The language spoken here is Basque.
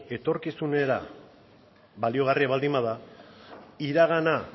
etorkizunera baliagarria baldin bada iragana